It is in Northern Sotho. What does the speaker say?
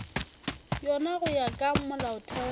yona go ya ka molaotheo